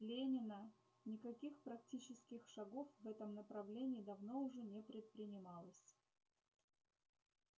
ленина никаких практических шагов в этом направлении давно уже не предпринималось